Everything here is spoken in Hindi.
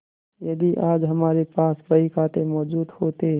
यदि आज हमारे पास बहीखाते मौजूद होते